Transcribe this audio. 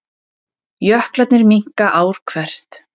Jöklarnir minnka ár hvert